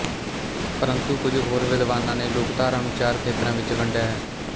ਪਰੰਤੂ ਕੁਝ ਹੋਰ ਵਿਦਵਾਨਾਂ ਨੇ ਲੋਕਧਾਰਾ ਨੂੰ ਚਾਰ ਖੇਤਰਾਂ ਵਿੱਚ ਵੰਡਿਆ ਹੈ